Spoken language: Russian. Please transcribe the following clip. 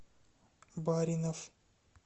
баринов